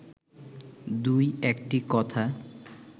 দু-একটি কথা